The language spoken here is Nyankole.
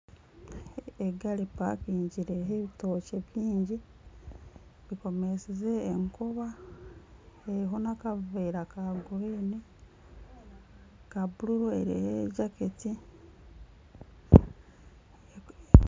Egari epakingire eriho ebitookye bingi ekomesize enkoba, eriho nana akaveera ka kinyaatsi eriho ejaketi.